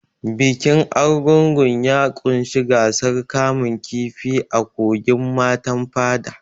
Bikin Argungu ya ƙunshi gasar kamun kifi a kogin Matan Fada.